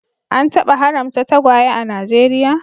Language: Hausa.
An taba haramta tagwaye a Najeriya